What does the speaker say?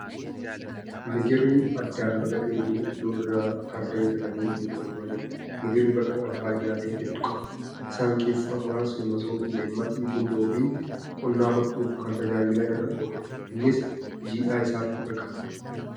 Migirri addaan baqaqee jiru aduu irraa tarree galanii goggogfamaa jiru. Migirri baqaqaan faayidaalee hedduu qaba . Isaan keessaa muraasni masoobii, leemmaxii, gundoo fi qunnaa hodhuuf kan tajaajila irra ooludha. Innis jiidhaa isaatti baqaqfama.